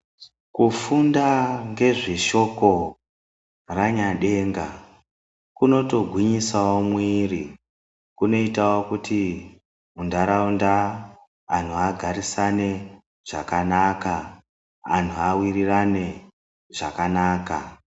Kufunda ngezveshoko raNyadenga kuno togwinyisawo muiri. Kuno itawo kuti mundaraunda anthu agarisane zvakanaka, anthu awirirane zvakanaka.